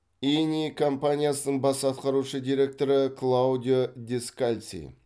ини компаниясының бас атқарушы директоры клаудио дескальци